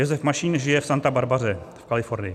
Josef Mašín žije v Santa Barbaře v Kalifornii.